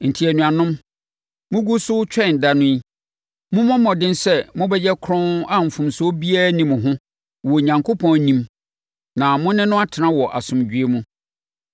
Enti, anuanom, mogu so retwɛn da no yi, mommɔ mmɔden sɛ mobɛyɛ kronn a mfomsoɔ biara nni mo ho wɔ Onyankopɔn anim na mo ne no atena wɔ asomdwoeɛ mu.